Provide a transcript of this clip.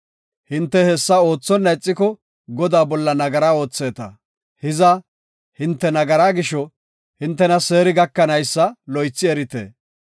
“Hinte hessa oothonna ixiko Godaa bolla nagara ootheeta; hiza, hinte nagaraa gisho hintena seeri gakanaysa loythi erite.